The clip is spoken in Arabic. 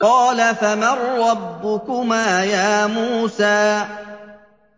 قَالَ فَمَن رَّبُّكُمَا يَا مُوسَىٰ